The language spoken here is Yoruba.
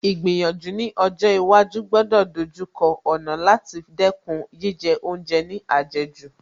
Ìgbìyànjú ní ọjọ́ iwájú gbọ́dọ̀ ìdojúkọ ọ̀nà láti dẹ́kun jíjẹ oúnjẹ ní àjẹjù